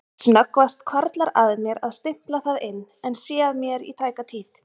Snöggvast hvarflar að mér að stimpla það inn en sé að mér í tæka tíð.